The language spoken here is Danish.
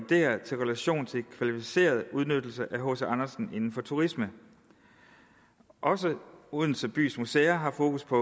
relation til kvalificeret udnyttelse af hc andersen inden for turisme også odense bys museer har fokus på